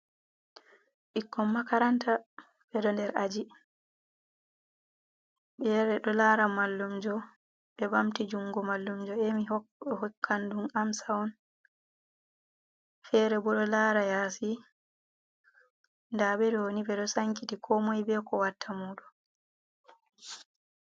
Bikkon makaranta beɗo nɗer aji. be yeyi be ɗo lara mallumjo. Be bamti jungo mallumjo emi be hokkanɗun amsa on. fere bo ɗo lara yasi. Ɗa beɗo ni be ɗo sankiti ko moi be ko watta muɗum.